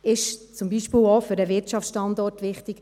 dies ist auch für den Wirtschaftsstandort wichtig.